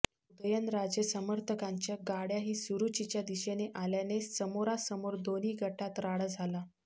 उदयनराजे समर्थकांच्या गाड्याही सुरुचीच्या दिशेने आल्याने समोरा समोर दोन्ही गटात राडा झाला